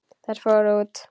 Þær fóru út.